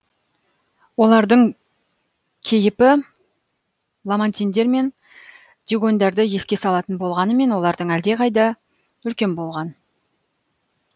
олардың кейіпі ламантиндер мен дюгоньдарды еске салатын болғанымен олардан әлдеқайда үлкен болған